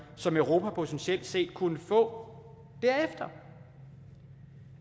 som europa potentielt set kunne få derefter